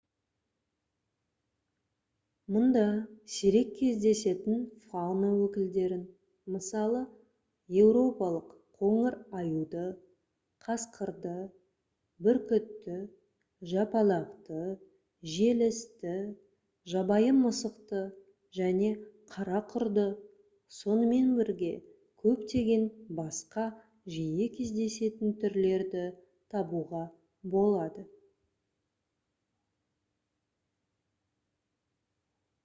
мұнда сирек кездесетін фауна өкілдерін мысалы еуропалық қоңыр аюды қасқырды бүркітті жапалақты желісті жабайы мысықты және қара құрды сонымен бірге көптеген басқа жиі кездесетін түрлерді табуға болады